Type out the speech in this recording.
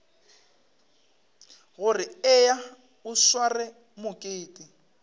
gore eya o sware mokete